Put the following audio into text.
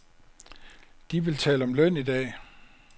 De vil tale om løn i dag.